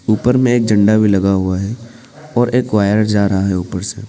ऊपर में एक झंडा भी लगा हुआ है और एक वायर जा रहा है ऊपर से।